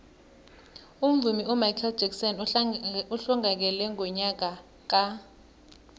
umvumi umichael jackson uhlongakele ngonyaka ka